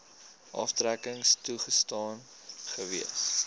aftrekking toegestaan gewees